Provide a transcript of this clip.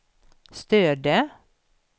Stöde